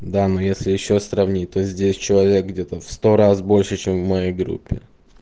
да ну если ещё сравнить то здесь человек где-то в сто раз больше чем в моей группе